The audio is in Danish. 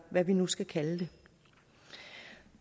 man nu skal kalde det